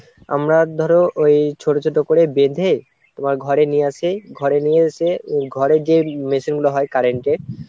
আমরা ধরো ওই ছোট ছোট করে বেঁধে তোমার ঘরে নিয়ে আসে ঘরে নিয়ে এসে ঘরে যে machine গুলো হয় Current এর,